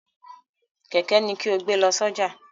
Kẹ̀kẹ́ ni kí o gbé lọ sójà!